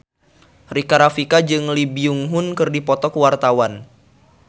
Rika Rafika jeung Lee Byung Hun keur dipoto ku wartawan